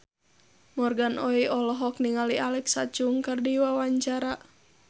Morgan Oey olohok ningali Alexa Chung keur diwawancara